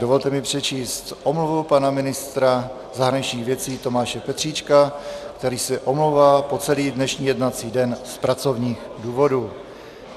Dovolte mi přečíst omluvu pana ministra zahraničních věcí Tomáše Petříčka, který se omlouvá po celý dnešní jednací den z pracovních důvodů.